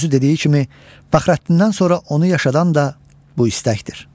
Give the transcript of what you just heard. Özü dediyi kimi, Fəxrəddindən sonra onu yaşadan da bu istəkdir.